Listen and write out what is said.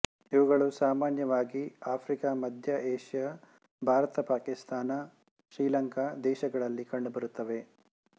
ಇವುಗಳು ಸಾಮಾನ್ಯವಾಗಿ ಆಫ್ರಿಕಾ ಮಧ್ಯ ಏಷ್ಯಾ ಭಾರತ ಪಾಕಿಸ್ತಾನ ಶ್ರೀಲಂಕಾ ದೇಶಗಳಲ್ಲಿ ಕಂಡುಬರುತ್ತವೆ